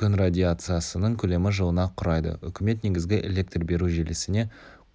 күн радиациясының көлемі жылына құрайды үкімет негізгі электр беру желісіне